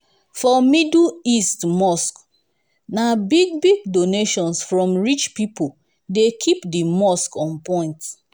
for middle east mosques na big-big donations from rich pipo dey keep di mosque on point.